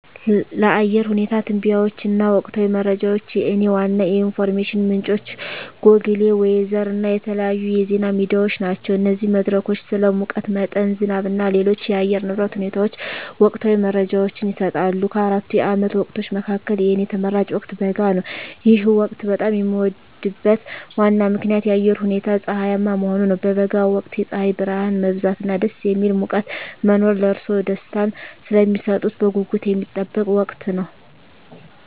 ለአየር ሁኔታ ትንበያዎች እና ወቅታዊ መረጃዎች፣ የእኔ ዋና የኢንፎርሜሽን ምንጮች ጎግል ዌዘር እና የተለያዩ የዜና ሚዲያዎች ናቸው። እነዚህ መድረኮች ስለ ሙቀት መጠን፣ ዝናብ እና ሌሎች የአየር ንብረት ሁኔታዎች ወቅታዊ መረጃዎችን ይሰጣሉ። ከአራቱ የዓመት ወቅቶች መካከል፣ የእኔ ተመራጭ ወቅት በጋ ነው። ይህ ወቅት በጣም የሚወደድበት ዋና ምክንያት የአየሩ ሁኔታ ፀሐያማ መሆኑ ነው። በበጋ ወቅት የፀሐይ ብርሃን መብዛት እና ደስ የሚል ሙቀት መኖር ለእርስዎ ደስታን ስለሚሰጡት በጉጉት የሚጠበቅ ወቅት ነው።